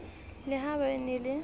le ha ba e na